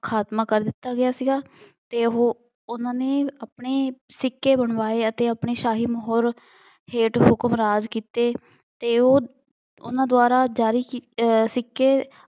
ਖਾਤਮਾ ਕਰ ਦਿੱਤਾ ਗਿਆ ਸੀਗਾ ਅਤੇ ਉਹ ਉਹਨਾ ਨੇ ਆਪਣੇ ਸਿੱਕੇ ਬਣਵਾਏ ਅਤੇ ਆਪਣੇ ਸ਼ਾਹੀ ਮੁਹਰ ਹੇਠ ਹੁਕਮਰਾਜ ਕੀਤੇ ਅਤੇ ਉਹ ਉਹਨਾ ਦੁਆਰਾ ਜਾਰੀ ਅਹ ਸਿੱਕੇ